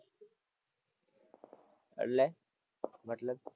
એટલે મતલબ?